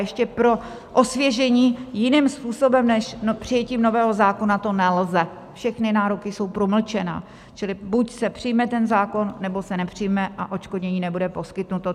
Ještě pro osvěžení: jiným způsobem než přijetím nového zákona to nelze, všechny nároky jsou promlčené, čili buď se přijme ten zákon, nebo se nepřijme a odškodnění nebude poskytnuto.